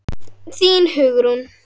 Þín Hugrún.